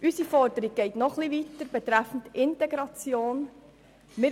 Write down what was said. Unsere Forderung betreffend Integration geht noch etwas weiter.